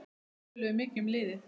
Við töluðum mikið um liðið.